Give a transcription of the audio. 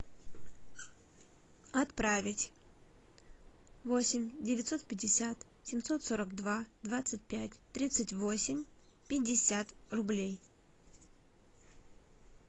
отправить восемь девятьсот пятьдесят семьсот сорок два двадцать пять тридцать восемь пятьдесят рублей